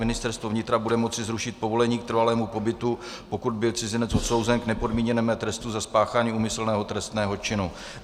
Ministerstvo vnitra bude moci zrušit povolení k trvalému pobytu, pokud byl cizinec odsouzen k nepodmíněnému trestu za spáchání úmyslného trestného činu.